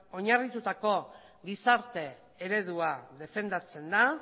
oinarritutako gizarte eredua defendatzen da